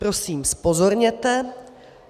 - Prosím, zpozorněte.